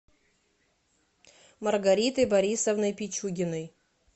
маргаритой борисовной пичугиной